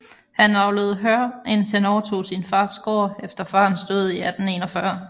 Han avlede hør indtil han overtog sin fars gård efter farens død i 1841